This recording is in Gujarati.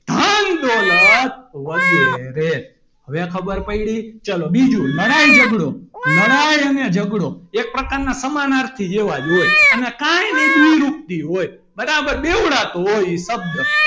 ધન દોલત વગેરે હવે ખબર પડી ચલો બીજું લડાઈ ઝઘડો લડાઈ અને ઝઘડો એક પ્રકારના સમાનાર્થી જેવા હોય અને કાંઇ નહી દ્વિરૂપતિ હોય બરાબર બેવડા તો હોય એ શબ્દ,